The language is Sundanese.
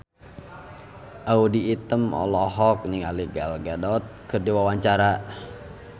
Audy Item olohok ningali Gal Gadot keur diwawancara